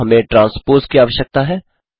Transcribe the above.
अब हमें ट्रांस्पोज़ की आवश्यकता है